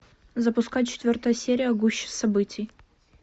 запускай четвертая серия гуща событий